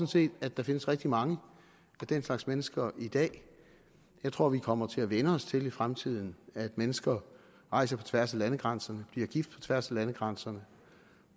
set at der findes rigtig mange af den slags mennesker i dag og jeg tror vi kommer til at vænne os til i fremtiden at mennesker rejser på tværs af landegrænserne bliver gift på tværs af landegrænserne